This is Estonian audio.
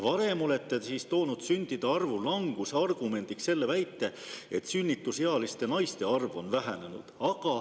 Varem olete te toonud sündide arvu languse argumendiks väite, et sünnitusealiste naiste arv on vähenenud.